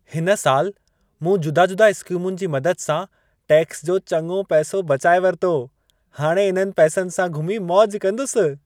हिन साल मूं जुदा-जुदा स्कीमुनि जी मदद सां टैक्स जो चङो पैसो बचाए वरितो। हाणे इन्हनि पैसनि सां घुमी मौज कंदुसि।